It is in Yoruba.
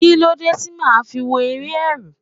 Kíló dé tí màá fi wo eré Ẹ̀rù?